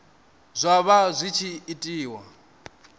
zwa vha zwi tshi itiwa